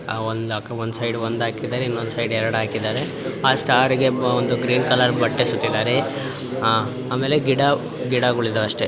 ಈ ಚಿತ್ರದಲ್ಲಿ ಒಂದು ರೆಸ್ಟೋರೆಂಟ್ ಇದೆ ಆರ್ ರೆಸ್ಟೋರೆಂಟ್ ಅಲ್ಲಿ ತುಂಬಾ ಸ್ಟಾರ್ಸ್ ಇದೆ ಸ್ಟಾರ್ಸ್ ಗಳನ್ನು ನೆ ತಾಕಿದರೆ ಒಂದು ಸೈಡ್ ಒಂದು ಹಾಕಿದ್ದರೆ ಇನ್ನೊಂದು ಸೈಡ್ ಎರಡು ಹಾಕಿದ್ದಾರೆ ಆ ಸ್ಟಾರ್ ಗೆ ಗ್ರೀನ್ ಕಲರ್ ಬಟ್ಟೆ ಸುತ್ತಿದರೆ ಆಮೇಲೆ ಗಿಡಗಳು ಇದ್ದಾವೆ ಅಷ್ಟೇ.